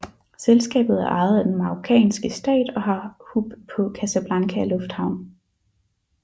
Selskabet er ejet af den marokanske stat og har hub på Casablanca lufthavn